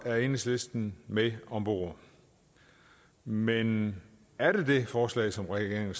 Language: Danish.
er enhedslisten med om bord men er det det forslag som regeringen